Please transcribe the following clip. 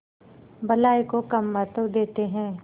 भलाई को कम महत्व देते हैं